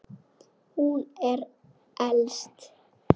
Hún er elst.